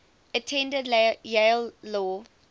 attended yale law